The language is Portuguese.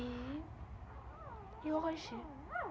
E... E hoje?